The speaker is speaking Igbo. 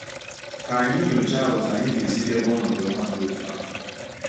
Ka anyị nyochaa otú anyị ga-esi debe ọnọdụ ọma dị otú ahụ.